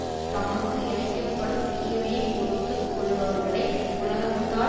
தமக்கு இழைக்க படும் தீமையை பொறுத்து கொள்பவர்களை உலகத்தார்